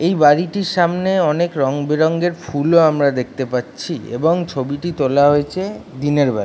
এই বাড়িটির সামনে অনেক রং বেরং এর ফুলও আমরা দেখতে পাচ্ছি। এবং ছবিটি তোলা হয়েছে দিনের বেলা ।